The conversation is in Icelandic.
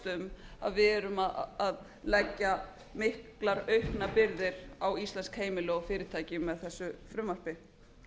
um að við erum að leggja miklar auknar byrðar á íslensk heimili og fyrirtæki með þessu frumvarpi